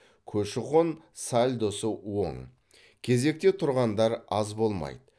көші қон сальдосы оң кезекте тұрғандар аз болмайды